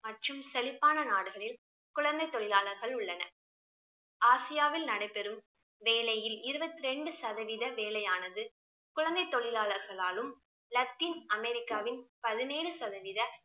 மற்றும் செழிப்பான நாடுகளில் குழந்தை தொழிலாளர்கள் உள்ளனர். ஆசியாவில் நடைபெறும் வேலையில் இருபத்திரெண்டு சதவீத வேலை ஆனது குழந்தை தொழிலாளர்களாலும், லத்தின் அமெரிக்காவின் பதினேழு சதவீத